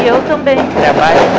E eu também trabalho